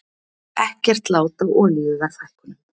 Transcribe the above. Ekkert lát á olíuverðshækkunum